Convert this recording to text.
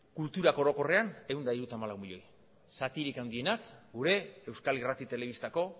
kulturak orokorren ehun eta hirurogeita hamalau milioi zatirik handienak gure euskal irrati telebistako